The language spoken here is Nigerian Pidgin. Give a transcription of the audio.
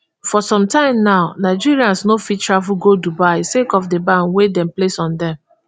for sometime now nigerians no fit travel go dubai sake of di ban wey dem place on dem